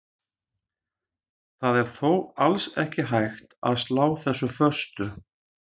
Það er þó alls ekki hægt að slá þessu föstu.